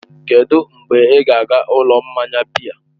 Kedụ mgbe ị ga-aga ụlọ mmanya biya?